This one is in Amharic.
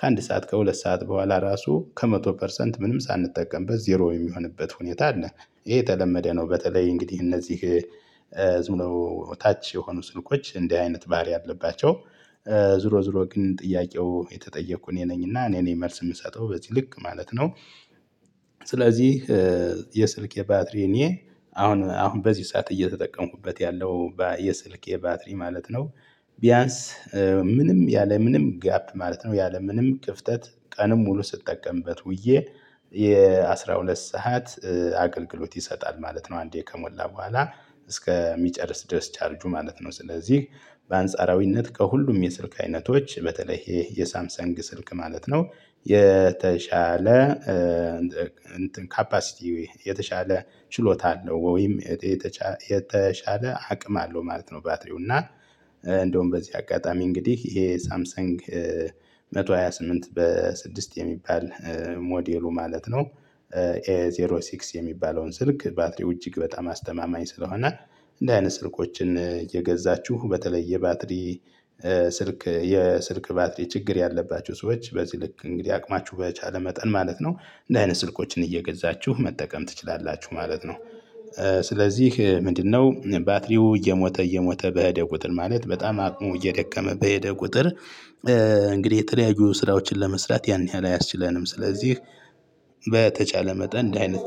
ከአንድ ሰዓት ከሁለት ሰዓት በኋላ ራሱ ከመቶ ፐርሰንት ምንም ሳንጠቀምበት ዜሮ የሚሆንበት ሁኔታ አለ። ይሄ የተለመደ ነው። በተለይ እንግዲህ እነዚህ ዝም ብለው ታች የሆኑ ስልኮች እንዲህ አይነት ባህሪ አለባቸው። ዙሮ ዙሮ ግን ጥያቄው የተጠየኩ እኔ ነኝና እኔ ነኝ መልስ የምሰጠው በዚህ ልክ ማለት ነው። ስለዚህ የስልኬ የባትሪ እኔ አሁን አሁን በዚህ ሰዓት እየተጠቀሙበት ያለው የስልኬ ባትሪ ማለት ነው። ቢያንስ ምንም ያለምንም ጋፕ ማለት ነው ያለምንም ክፍተት ቀንም ሙሉ ስጠቀምበት ውዬ የአስራሁለት ሰዓት አገልግሎት ይሰጣል ማለት ነው። አንዴ ከሞላ በኋላ እስከሚጨርስ ድረስ ቻርጁ ማለት ነው። ስለዚህ በአንጻራዊነት ከሁሉም የስልክ አይነቶች በተለይ ይሄ የሳምሰንግ ስልክ ማለት ነው። የተሻለ ካፓሲቲ የተሻለ ችሎታ አለው ወይም የተሻለ አቅም አለው ማለት ነው። ባትሪው እና እንደውም በዚህ አጋጣሚ እንግዲህ ይሄ ሳምሰንግ መቶ ሃያ ስምንት በስድስት የሚባል ሞዴሉ ማለት ነው። ኤ ዜሮ ስድስት የሚባለውን ስልክ ባትሪው እጅግ በጣም አስተማማኝ ስለሆነ። እንዲህ አይነት ስልኮችን እየገዛችሁ በተለይ የባትሪ ስልክ የስልክ ባትሪ ችግር ያለባቸው ሰዎች በዚህ ልክ እንግዲህ አቅማችሁ በቻለ መጠን ማለት ነው። እንደዚህ አይነት ስልኮችን እየገዛችሁ መጠቀም ትችላላችሁ ማለት ነው። ስለዚህ ምንድነው ባትሪው እየሞተ እየሞተ በሄደ ቁጥር ማለት በጣም አቅሙ እየደከመ በሄደ ቁጥር እንግዲህ የተለያዩ ስራዎችን ለመስራት ያን ያህል አያስችለንም ስለዚህ በተቻለ መጠን እንዲህ አይነት